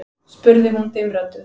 spurði hún dimmrödduð.